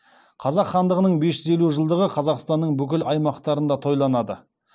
қазақ хандығының бес жүз елу жылдығы қазақстанның бүкіл аймақтарында тойланады